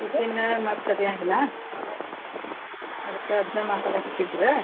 tiffin ಮತ್ ಸರಿ ಆಗಾಂಗಿಲ್ಲಾ ಅದ್ಕ್ ಅದ್ನ ಮಾತಾಡಕತ್ತಿದ್ರ.